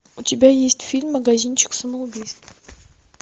у тебя есть фильм магазинчик самоубийств